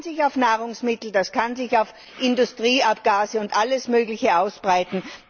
Das kann sich auf Nahrungsmittel, das kann sich auf Industrieabgase und alles Mögliche ausweiten.